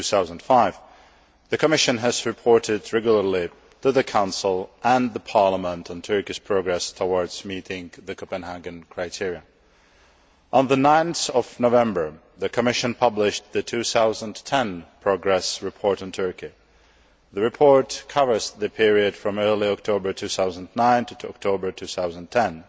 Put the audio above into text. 2005. The Commission has reported regularly to the Council and Parliament on Turkish progress towards meeting the Copenhagen criteria. On 9 November, the Commission published the 2010 progress report on Turkey. The report covers the period from early October 2009 to October 2010